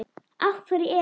Af hverju er